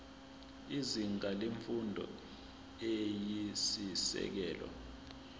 izinga lemfundo eyisisekelo